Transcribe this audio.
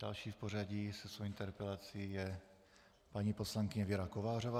Další v pořadí se svou interpelací je paní poslankyně Věra Kovářová.